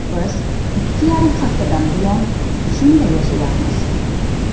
Biz ikki yarim haftadan buyon shunday yashayapmiz.